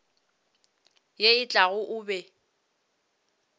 ye e tlago o be